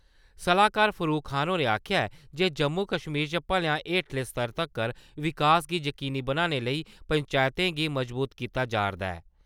सलाह्कार फारुक खान होरें आखेआ ऐ जे जम्मू-कश्मीर च भलेआं हेठले स्तर तक्कर विकास गी यकीनी बनाने लेई पंचैंतें गी मजबूत कीता जा'रदा ऐ ।